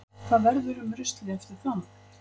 Hvað verður um ruslið eftir það?